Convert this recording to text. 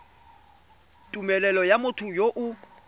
tumelelo ya motho yo o